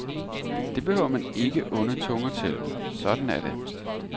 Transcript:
Det behøver man ikke onde tunger til, sådan er det.